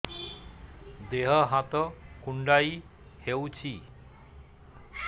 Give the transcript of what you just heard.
ଦେହ ହାତ କୁଣ୍ଡାଇ ହଉଛି